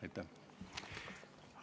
Aitäh!